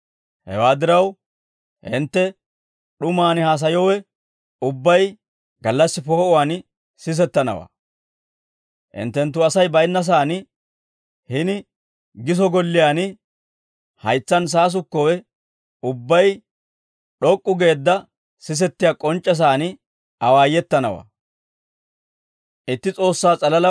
Hewaa diraw hintte d'umaan haasayowe ubbay, gallassi poo'uwaan sisettanawaa; hinttenttu Asay baynnasaan hini giso golliyaan haytsaan saasukkowe ubbay d'ok'k'u geedda sisettiyaa k'onc'c'esaan awaayetanawaa.